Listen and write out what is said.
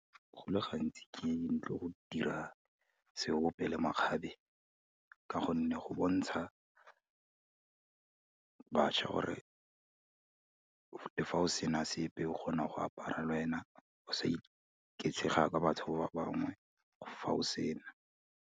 Go le gantsi ke ne tlo go dira seope le makgabe ka gonne, go bontsha batjha gore fa o sena sepe, o kgona go apara le wena, o sa iketshega batho ba bangwe, fa o sena.